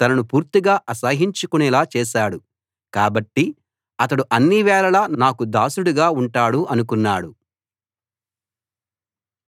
తనను పూర్తిగా అసహ్యించుకునేలా చేశాడు కాబట్టి అతడు అన్నివేళలా నాకు దాసుడుగా ఉంటాడు అనుకున్నాడు